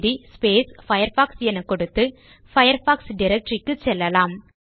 CD Firefox என கொடுத்து Firefox directory க்கு செல்லலாம்